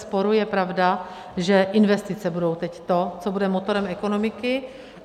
Bezesporu je pravda, že investice budou teď to, co bude motorem ekonomiky.